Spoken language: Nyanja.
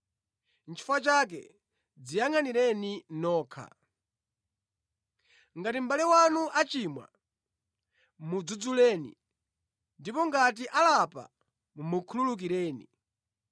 Nʼchifukwa chake dziyangʼanireni nokha. “Ngati mʼbale wanu achimwa, mudzudzuleni, ndipo ngati alapa, mukhululukireni.